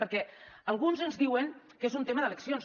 perquè alguns ens diuen que és un tema d’eleccions